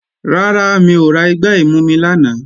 Rárá, mi ò ra igbá ìmumi lánàá